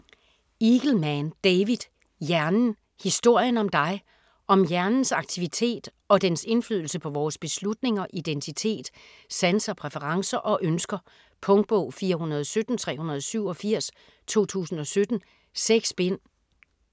Eagleman, David: Hjernen: historien om dig Om hjernens aktivitet og dens indflydelse på vores beslutninger, identitet, sanser, præferencer og ønsker. Punktbog 417387 2017. 6 bind.